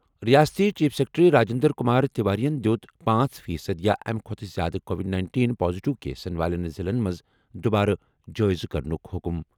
رِیاستی chief secretary Rajendra Kumar تیواریَن دِیُت پانٛژ فی صٔدی یا اَمہِ کھۄتہٕ زِیٛادٕ کووڈ نَینٹین پازیٹیو کیسَن والٮ۪ن ضِلعن منٛز دُبارٕ جٲیزٕ کرنُک حُکُم